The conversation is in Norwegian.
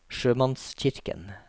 sjømannskirken